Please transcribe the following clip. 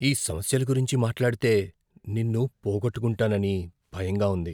ఈ సమస్యల గురించి మాట్లాడితే నిన్ను పోగొట్టుకుంటానని భయంగా ఉంది.